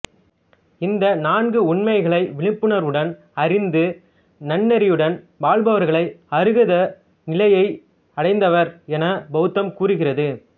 இந்த நான்கு உண்மைகளை விழிப்புணர்வுடன் அறிந்து நன்னெறியுடன் வாழ்பவர்களை அருகத நிலையை அடைந்தவர் என பௌத்தம் கூறுகிறது